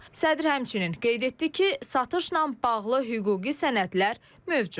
Sədr həmçinin qeyd etdi ki, satışla bağlı hüquqi sənədlər mövcuddur.